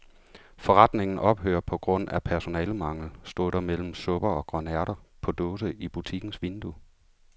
Forretningen ophører på grund af personalemangel, stod der mellem supper og grønærter på dåse i butikkens vindue.